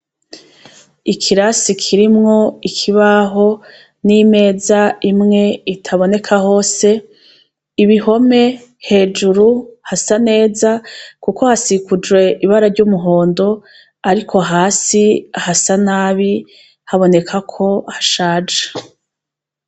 Ikirasi kirimwo ikibaho n'imeza imwe itaboneka hose, ibihome hejuru hasa neza, kuko hasikujwe ibara ry'umuhondo, ariko hasi hasa nabi habonekako hashaja.